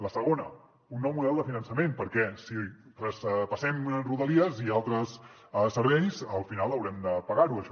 la segona un nou model de finançament perquè si traspassem rodalies i altres serveis al final haurem de pagar ho això